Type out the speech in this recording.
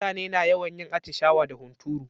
Mutane na yawan yin atishawa da hunturu.